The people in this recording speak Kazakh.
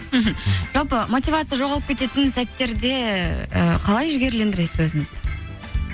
мхм жалпы мотивация жоғалып кететін сәттерде ы қалай жігерлендіресіз өзіңізді